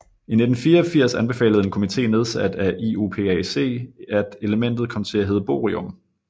I 1984 anbefalede en komité nedsat af IUPAC at elementet kom til at hedde Bohrium